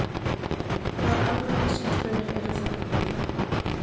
Hvaða almannahagsmunir eru það?